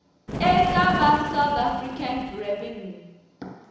eka va south african revenue